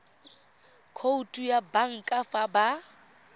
khoutu ya banka fa ba